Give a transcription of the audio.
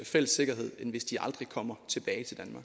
fælles sikkerhed end hvis de aldrig kommer tilbage til